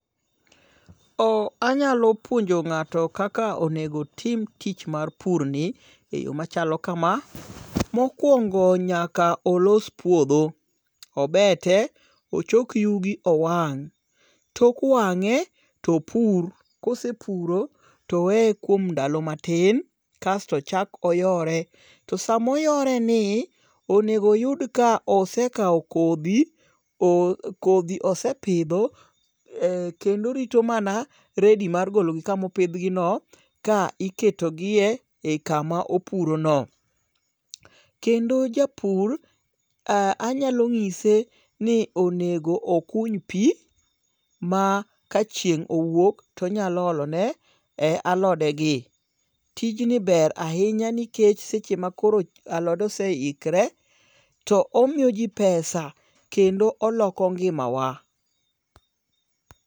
Oh anyalo puonjo ng'ato kaka onegotim tich mar pur ni e yo machalo kama. Mokwongo nyaka olos puodho, obete, ochok yugi owang'. Tok wang'e topur, kosepuro toweye kuom ndalo matin kasto ochak oyore. To samoyore ni, onego oyud ka osekawo kodhi. Kodhi osepidho kendo orito mana ready mar gologi kamopidhgi no. Ka iketogie ei kama opurono. Kendo japur anyalo ng'ise ni onego okuny pi ma ka chieng' owuok tonyalo olone alode gi. Tijni ber ahinya nikech seche makoro alod oseikre, to omiyoji pesa kendo oloko ngimawa.